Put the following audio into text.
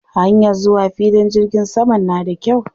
Hanyar zuwa filin jirgin saman na da kyau.